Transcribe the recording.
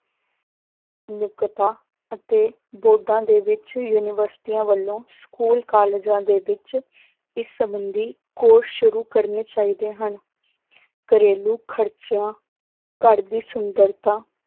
ਨੁਕਤਾ ਅਤੇ ਬੋਧਾਂ ਦੇ ਵਿੱਚ ਯੂਨੀਵਰਸਟੀਆਂ ਵੱਲੋਂ school ਕਾਲਜਾਂ ਦੇ ਵਿੱਚ ਇਸ ਸੰਬੰਧੀ course ਸ਼ੁਰੂ ਕਰਨੇ ਚਾਹੀਦੇ ਹਨ ਘਰੇਲੂ ਖ਼ਰਚਿਆਂ ਘਰ ਦੀ ਸੁੰਦਰਤਾ,